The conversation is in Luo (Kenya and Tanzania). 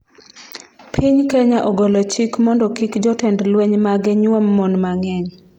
Piny Kenya ogolo chik mondo kik jotend lweny mage nyuom mon mang'eny